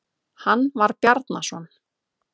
Hann var Bjarnason.